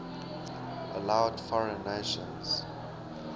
allowed foreign nations